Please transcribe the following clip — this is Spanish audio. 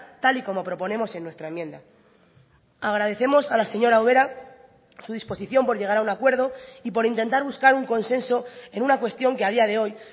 tal y como proponemos en nuestra enmienda agradecemos a la señora ubera su disposición por llegar a un acuerdo y por intentar buscar un consenso en una cuestión que a día de hoy